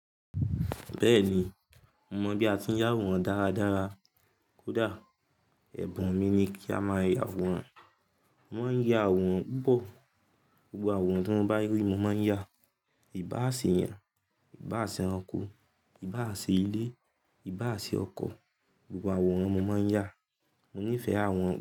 Bẹ́ẹ̀ni, mo mọ̀ bí a ti ń yá àwòrán dáradára. Kódà ẹ̀bùn mi ni kí a máa yá àwòrán. Mo máa ń ya àwòrán pupo. Gbogbo àwòrán tí wọ́n bá rí mo máa ń yà. Ìbáà se eyan, Ìbáà se ẹranko, Ìbáà se ilé, Ìbáà se ọkọ̀, gbogbo àwòrán mo máa ń yà. Mo nífẹ̀ẹ́ àwòrán.